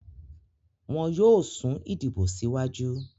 wọn yóò sún ìdìbò síwájú.